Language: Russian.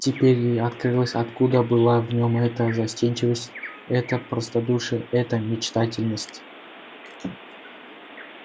теперь ей открылось откуда была в нем эта застенчивость это простодушие эта мечтательность